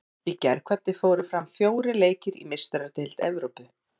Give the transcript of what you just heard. Í gærkvöldi fóru fram fjórir leikir í Meistaradeild Evrópu.